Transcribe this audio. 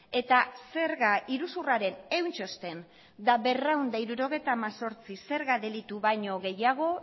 eta zerga iruzurraren ehun txosten eta berrehun eta hirurogeita hemezortzi zerga delitu baino gehiago